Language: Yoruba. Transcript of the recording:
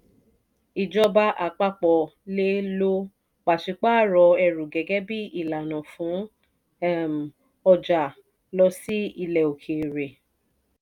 ìjọba àpapọ̀ le lo pàṣípààrọ̀ ẹrù gẹ́gẹ́ bi ìlànà fún um ọjà lọ sí ilẹ̀ òkèèrè